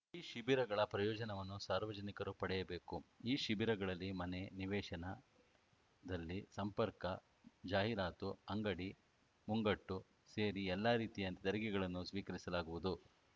ಈ ಶಿಬಿರಗಳ ಪ್ರಯೋಜನವನ್ನು ಸಾರ್ವಜನಿಕರು ಪಡೆಯಬೇಕು ಈ ಶಿಬಿರಗಳಲ್ಲಿ ಮನೆ ನಿವೇಶನ ನಲ್ಲಿ ಸಂಪರ್ಕಜಾಹೀರಾತು ಅಂಗಡಿ ಮುಂಗಟ್ಟು ಸೇರಿ ಎಲ್ಲ ರೀತಿಯ ತೆರಿಗೆಗಳನ್ನು ಸ್ವೀಕರಿಸಲಾಗುವುದು